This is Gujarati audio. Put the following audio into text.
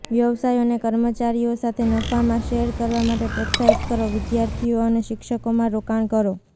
વ્યવસાયોને કર્મચારીઓ સાથે નફામાં શેર કરવા માટે પ્રોત્સાહિત કરો વિદ્યાર્થીઓ અને શિક્ષકોમાં રોકાણ કરો